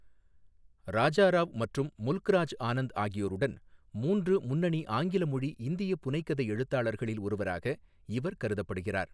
ராஜா ராவ் மற்றும் முல்க்ராஜ் ஆனந்த் ஆகியோருடன், மூன்று முன்னணி ஆங்கில மொழி இந்திய புனைகதை எழுத்தாளர்களில் ஒருவராக இவர் கருதப்படுகிறார்.